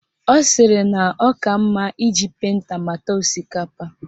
Ọ sịrị na ọ ka mma iji penta mata osikapa